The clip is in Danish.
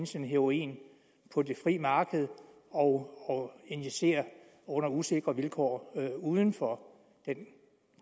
sin heroin på det frie marked og injicere under usikre vilkår uden for den